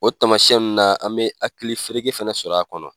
O tamasiyɛn nun na an bɛ hakili fereke fɛnɛ sɔrɔ a kɔnɔ.